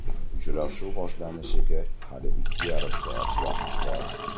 Uchrashuv boshlanishiga hali ikki yarim soat vaqt bor.